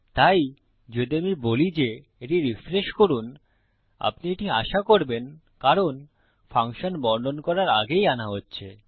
তাই যদি আমি বলি যে এটি রিফ্রেশ করুন আপনি এটি আশা করবেন কারণ ফাংশন বর্ণন করার আগেই আনা হচ্ছে